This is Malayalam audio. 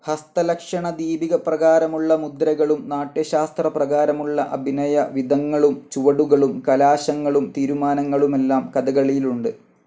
ഹസ്തലക്ഷണ ദീപിക പ്രകാരമുള്ള മുദ്രകളും നാട്യശാസ്ത്രപ്രകാരമുള്ള അഭിനയ വിധങ്ങളും ചുവടുകളും, കലാശങ്ങളും തീരുമാനങ്ങളുമെല്ലാം കഥകളിയിലുണ്ട്.